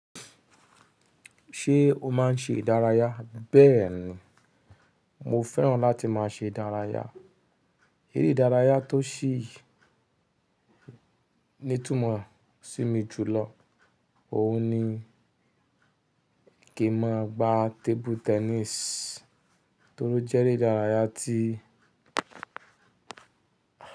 Ṣé o má n ṣe ìdárayá? Bẹ́ẹ̀ni, mo fẹ́ràn láti má a ṣe ìdárayá. Eré ìdárayá tó sìí nítúmọ̀ sí mi jùlọ òhun ni kí n máa gba table tennis torí ó jẹ́ eré ìdárayá tí.